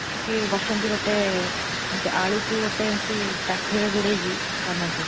ସେଠି ବସନ୍ତି ଗୋଟେ, ଗୋଟେ ଆଳୁକୁ ଗୋଟେ ଏମିତି କାଠରେ ଗୁଡ଼େଇକି ବନାନ୍ତି।